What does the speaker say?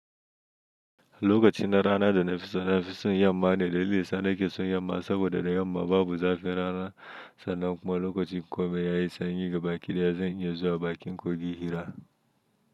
Lokacin da rana da na fi so na fi son yamma ne da lissana ke son yamma saboda da yamma babu zafin rana sannan kuma lokacin kome ya yi sanyi ga baki da ya zan iya zuwa bakin kogi hira.